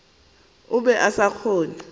be a sa kgone go